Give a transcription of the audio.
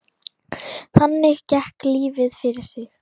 Þannig gekk lífið fyrir sig.